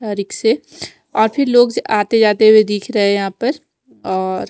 और रिक्से काफी लोग आते जाते हुए दिख रहे है यहाँ पर और --